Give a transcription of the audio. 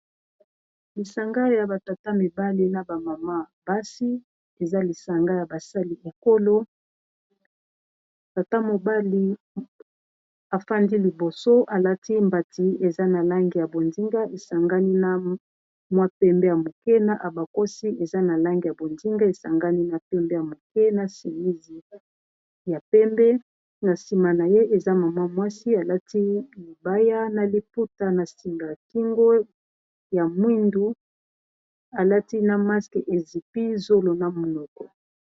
lisanga ya batata mibali na bamama basi eza lisanga ya basali ekolo tata mobali afandi liboso alati mbati eza na lange ya bondinga esangani na mwa pembe ya moke na abakosi eza na lange ya bondinga esangani na pembe ya moke na simisi ya pembe na nsima na ye eza mama mwasi alati mibaya na liputa na singakingo ya mwindu alati na maske ezipi zolona monoko